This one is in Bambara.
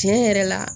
Tiɲɛ yɛrɛ la